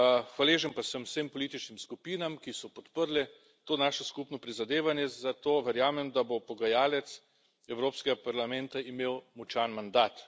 Hvaležen pa sem vsem političnim skupinam, ki so podprle to naše skupno prizadevanje, zato verjamem, da bo pogajalec Evropskega parlamenta imel močan mandat.